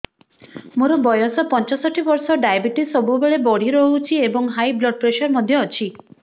ମୋର ବୟସ ପଞ୍ଚଷଠି ବର୍ଷ ଡାଏବେଟିସ ସବୁବେଳେ ବଢି ରହୁଛି ଏବଂ ହାଇ ବ୍ଲଡ଼ ପ୍ରେସର ମଧ୍ୟ ଅଛି